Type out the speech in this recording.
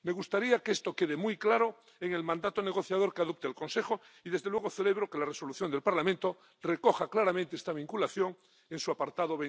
Me gustaría que esto quede muy claro en el mandato negociador que adopte el Consejo y, desde luego, celebro que la propuesta de Resolución del Parlamento recoja claramente esta vinculación en su apartado